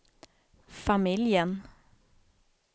familjen